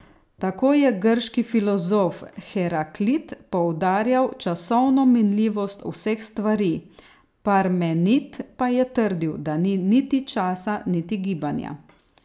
Tako je grški filozof Heraklit poudarjal časovno minljivost vseh stvari, Parmenid pa je trdil, da ni niti časa niti gibanja.